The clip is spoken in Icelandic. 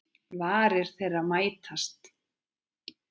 Varir þeirra mætast.